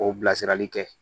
K'o bila sirali kɛ